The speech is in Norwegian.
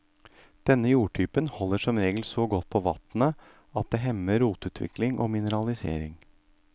Denne jordtypen holder som regel så godt på vatnet at det hemmer rotutvikting og mineralisering.